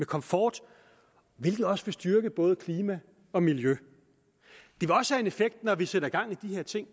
komfort hvilket også vil styrke både klima og miljø når vi sætter gang i de her ting